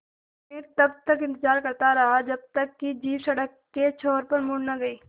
मैं तब तक इंतज़ार करता रहा जब तक कि जीप सड़क के छोर पर मुड़ न गई